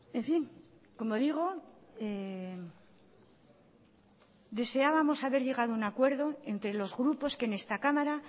en fin como digo deseábamos haber llegado a un acuerdo entre los grupos que en esta cámara